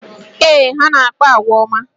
Ee, ha na-akpa àgwà ọma